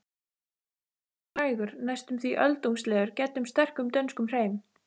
Talsmátinn er hægur, næstum því öldungslegur, gæddur sterkum dönskum hreim.